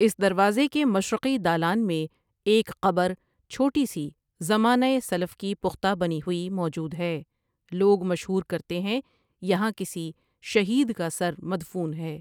اس دروازے کے مشرقی دالان میں ایک قبر چھوٹی سی زمانہ سلف کی پختہ بنی ہوئی موجود ہے لوگ مشہور کرتے ہیں یہاں کسی شہید کا سر مدفون ہےٴٴ۔